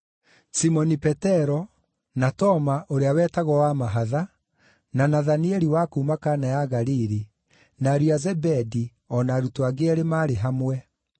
Simoni Petero, na Toma (ũrĩa wetagwo Wa-mahatha), na Nathanieli wa kuuma Kana ya Galili, na ariũ a Zebedi, o na arutwo angĩ eerĩ maarĩ hamwe.